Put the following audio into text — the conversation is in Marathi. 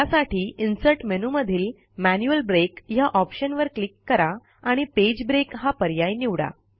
त्यासाठी इन्सर्ट मेनूमधील मॅन्युअल ब्रेक ह्या ऑप्शनवर क्लिक करा आणि पेज ब्रेक हा पर्याय निवडा